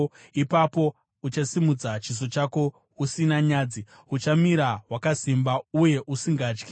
ipapo uchasimudza chiso chako usina nyadzi, uchamira wakasimba uye usingatyi.